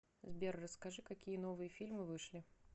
сбер расскажи какие новые фильмы вышли